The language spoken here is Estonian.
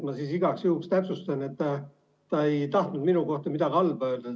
Ma siis igaks juhuks täpsustan, et ta ei tahtnud minu kohta midagi halba öelda.